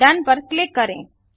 done पर click करें